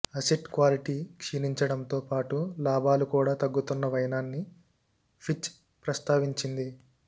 asset quality క్షీణించడంతో పాటు లాభాలు కూడా తగ్గుతున్న వైనాన్ని ఫిచ్ ప్రస్తావించింది